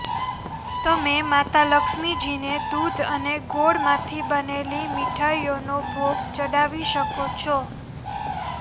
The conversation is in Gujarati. તમે માતા લક્ષ્મીજીને દૂધ અને ગોળમાંથી બનેલી મીઠાઈઓનો ભોગ ચડાવી શકો છો